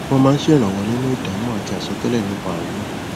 wọn máa ṣèrànwọ nínú ìdámọ àti àsọtẹlẹ nípa ààrùn náà